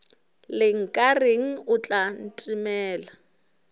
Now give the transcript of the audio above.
le nkareng o tla ntemela